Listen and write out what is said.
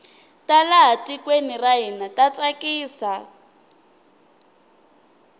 ta laha tikweni ra hina ta tsakisa